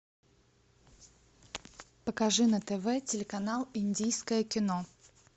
покажи на тв телеканал индийское кино